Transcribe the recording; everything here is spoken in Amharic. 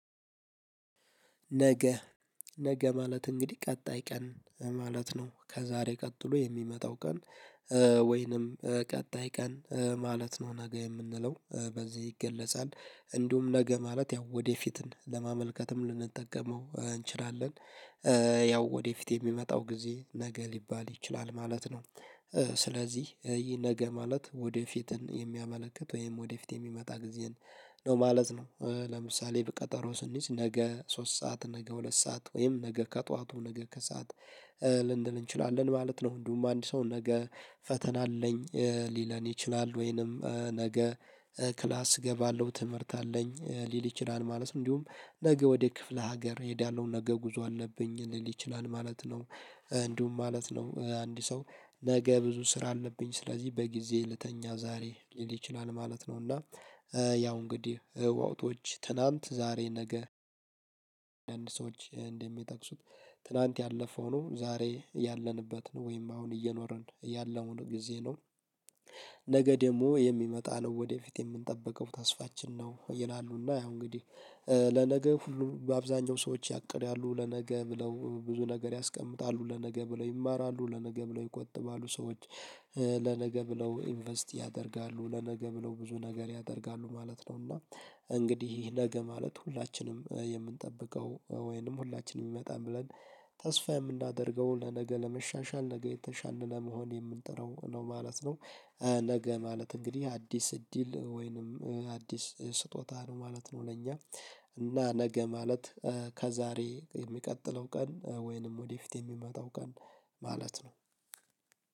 ነገ ነገ ማለት እንግዲህ ቀጣይ ቀን ማለት ነው። ከዛሬ ቀጥሎ የሚመጣው ቀን ወይንም ቀጣይ ቀን ማለት ነው ነገ የምንለው በዚህ ይገለጻል። እንዲሁም ነገ ማለት ያው ወደፊትን ለማመልከትም ልንጠቀመው እንችላለን። ያው ወደፊት የሚመጣው ጊዜ ነገ ሊባል ይችላል ማለት ነው። ስለዚህ ይህ ነገ ማለት ወደፊት የሚያመለክት ወይም ወደፊት የሚመጣ ጊዜን ነው ማለት ነው። ለምሳሌ ብቅጠሮ ስንይዝ ነገ ሶስት ሰዓት ነገ ሁለት ሰዓት ወይም ነገ ከጠዋቱ ነገ ከሰአት ልንል እንችላለን ማለት ነው። እንዲሁም አንድ ሰው ነገ ፈተና አለኝ ሊለን ይችላል፤ ወይንም ነገ ክላስ እገባለሁ ትምህርት አለኝ ሊል ይችላል ማለት ነው። እንዲሁም ነገ ወደ ክፍለ ሀገር እሄዳለሁ ነገ ጉዞ አለብኝ ሊል ይችላል ማለት ነው። እንዲሁም ማለት ነው አንድ ሰው ነገ ብዙ ስራ አለብኝ ስለዚህ በጊዜ ልተኛ ዛሬ ሊል ይችላል ማለት ነው፤ እና ያው እንግዲህ ወቅጦች ትናንት ዛሬ ነገ አንዳንድ ሰዎች እንደሚጠቅሱት ትላንት ያለፈው ነው ዛሬ ያለንበት ነው ወይም አሁን እየኖርን ያለውን ጊዜ ነው፣ ነገ ደግሞ የሚመጣ ነው ወደፊት የምንጠብቀው ተስፋችን ነው ይላሉ፤ እና ያው እንግዲህ ለነገ ሁሉ በአብዛኛው ሰዎች ያቅዳሉ ለነገ ብለው ብዙ ነገር ያስቀምጣሉ፣ ለነገ ብለው ይማራሉ፣ ለነገ ብለው ይቆጥባሉ ሰዎች ለነገ ብለው ኢንቨስት ያደርጋሉ፣ ለነገ ብለው ብዙ ነገር ያደርጋሉ ማለት ነው፤ እና እንግዲህ ነገ ማለት ሁላችንም የምንጠብቀው ወይንም ሁላችንም ይመጣል ብለን ተስፋ የምናደርገው ለነገ ለመሻሻል ነገ የተሻልን ለመሆን የምንጥረው ነው ማለት ነው። ነገ ማለት እንግዲህ አዲስ እድል ወይንም አዲስ ስጦታ ነው ማለት ነው ለኛ እና ነገ ማለት ከዛሬ የሚቀጥለው ቀን ወይንም ወደፊት የሚመጣው ቀን ማለት ነው።